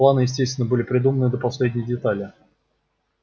планы естественно были продуманы до последней детали